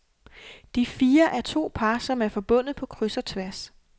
De fire er to par, som er forbundet på kryds og tværs.